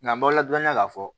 Nka n balala dɔɔnin na k'a fɔ